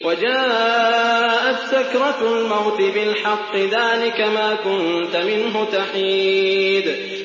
وَجَاءَتْ سَكْرَةُ الْمَوْتِ بِالْحَقِّ ۖ ذَٰلِكَ مَا كُنتَ مِنْهُ تَحِيدُ